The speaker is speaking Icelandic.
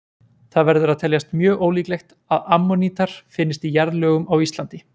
Það verður að teljast mjög ólíklegt að ammonítar finnist í jarðlögum á Íslandi.